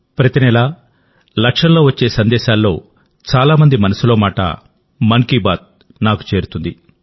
ప్రతి నెలాలక్షల్లో వచ్చే సందేశాల్లో చాలా మంది మనసులో మాట మన్ కీ బాత్ నాకు చేరుతుంది